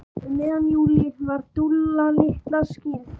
Um miðjan júlí var Dúlla litla skírð.